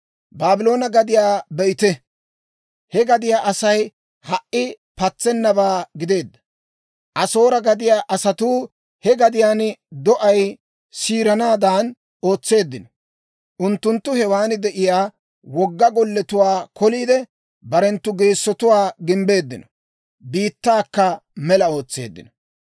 Baabloone gadiyaa be'ite; he gadiyaa Asay ha"i patsennabaa gideedda. Asoore gadiyaa asatuu he gadiyaan do'ay siiranaadan ootseeddino. Unttunttu hewan de'iyaa wogga golletuwaa koliide, barenttu geessotuwaa gimbbeeddino; biittaakka mela ootseeddino.